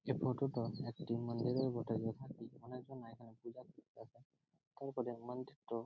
এই ফটো -টো একটি মন্দিরের বটে যেখানে অনেকজনা এখানে পূজা করতে আসে তারপরে মন্দিরট--